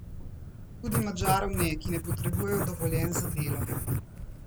Tudi Madžarov ne, ki ne potrebujejo dovoljenj za delo.